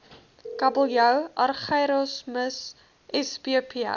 kabeljou argyrosomus spp